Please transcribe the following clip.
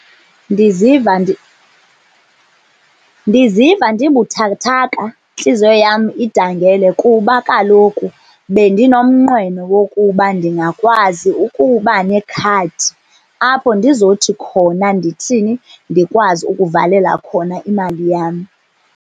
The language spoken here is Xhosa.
Ndiziva , ndiziva ndibuthakathaka intliziyo yam idangele, kuba kaloku bendinomnqweno wokuba ndingakwazi ukuba nekhadi. Apho ndizothi khona ndithini? Ndikwazi ukuvalela khona imali yam.